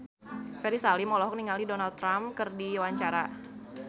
Ferry Salim olohok ningali Donald Trump keur diwawancara